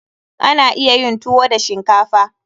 Ana iya yin tuwo da shinkafa.